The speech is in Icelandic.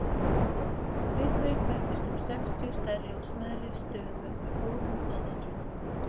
Við þau bættust um sextíu stærri og smærri stöðuvötn með góðum baðströndum.